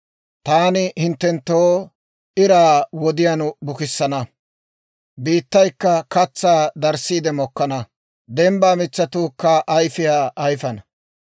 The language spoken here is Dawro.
taani hinttenttoo iraa wodiyaan bukissana; biittaykka katsaa darissiide mokkana; dembbaa mitsatuukka ayfiyaa ayifana.